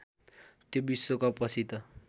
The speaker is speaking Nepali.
त्यो विश्वकपपछि त